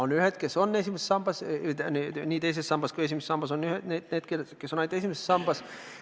On ühed, kes on nii teises kui ka esimeses sambas, ja on need, kes on ainult esimeses sambas.